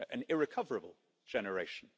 An irrecoverable generation.